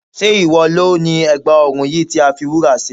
Sé ìwọ lo ni ègbà ọrùn yìí tí a fi wúrà ṣe?